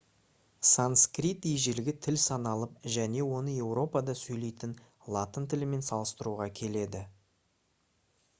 санскрит ежелгі тіл саналып және оны еуропада сөйлейтін латын тілімен салыстыруға келеді